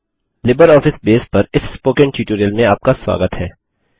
LibreOffice Base पर इस spoken tutorial में आपका स्वागत है